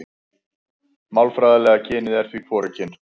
Málfræðilega kynið er því hvorugkyn.